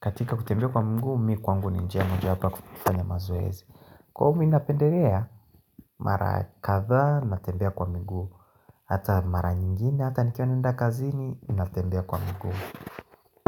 katika kutembea kwa miguu, mimi kwangu ni njia mojawapo ya kufanya mazoezi Kwa hiyo mimi napendelea, mara kadha, natembea kwa miguu, hata mara nyingine, hata nikiwa naenda kazini, natembea kwa miguu.